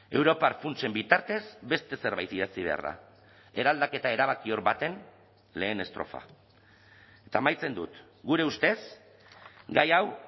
europar funtsen bitartez beste zerbait idatzi behar da eraldaketa erabakior baten lehen estrofa eta amaitzen dut gure ustez gai hau